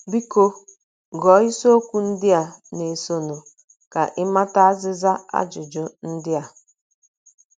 Biko, gụọ isiokwu ndị na - esonụ ka ị mata azịza ajụjụ ndị a.